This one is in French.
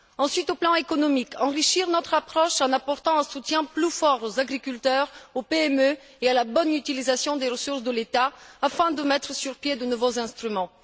Ensuite, au plan économique, il faut enrichir notre approche en apportant un soutien plus fort aux agriculteurs, aux PME et à la bonne utilisation des ressources de l'État afin de mettre sur pied de nouveaux instruments.